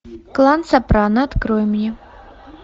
клан сопрано открой мне